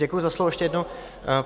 Děkuji za slovo ještě jednou.